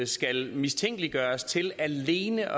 skal mistænkeliggøres til alene